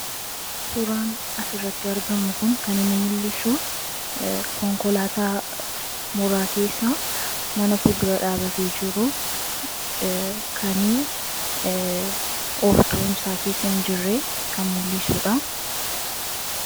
suraan as irratti argamu kun kaninni mul'isu konkolaataa mooraa keessa mana fuldura dhaabatee jiruu kani ooftuun isaa keessa hin jirre kan mul'isuudha